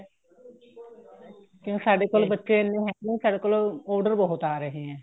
ਕਿਉਂ ਸਾਡੇ ਕੋਲ ਬੱਚੇ ਇੰਨੇ ਹੈਗੇ ਏ ਸਾਡੇ ਕੋਲ order ਬਹੁਤ ਆ ਰਹੇ ਹੈ